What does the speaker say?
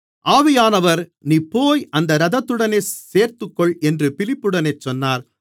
ஆவியானவர் நீ போய் அந்த இரதத்துடனே சேர்ந்துகொள் என்று பிலிப்புடனே சொன்னார்